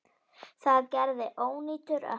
Það gerði ónýtur ökkli.